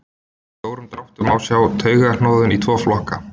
Í stórum dráttum má skipta taugahnoðum í tvo flokka.